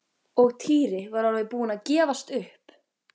Og Týri var alveg búinn að gefast upp.